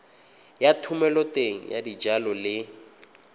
ya thomeloteng ya dijalo le